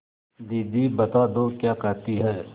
दीदी बता दो क्या कहती हैं